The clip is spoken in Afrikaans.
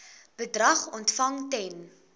bedrag ontvang ten